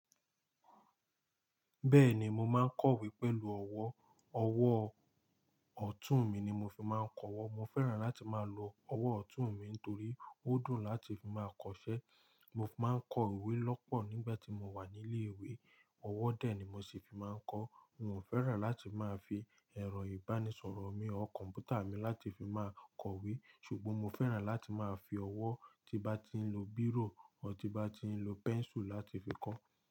Bẹ́ẹ̀ni, mo máa ń kọ̀wé pẹ̀lú ọwọ́. Ọwọ́ ọ̀tún mi ni mo fi máa ń kọwọ́. Mo fẹ́ràn láti máa lo ọwọ́ ọ̀tún mi torí ó dùn láti fi máa kọṣẹ́. Mo máa ń kọ ìwé lọ́pọ̀ nígbà tí mo wà ní ilé ìwé, ọwọ́ dè ni mo ṣi fi máa ń kọ. N ò fẹ́ràn láti máa fi ẹ̀rọ ìbánisọ̀rọ̀ mi kọ̀npútà mi láti fi máa kọ̀wé ṣùgbọ́n mo fẹ́ràn láti máa fi ọwọ́ tí bá ti ń lo bírò ọ́ tí bá ti ń lo pẹ́ńsù láti fi kọ́